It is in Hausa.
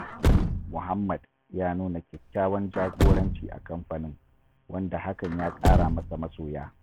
Muhammad ya nuna kyakkyawan jagoranci a kamfanin, wanda hakan ya ƙara masa masoya.